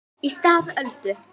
Í stað Öldu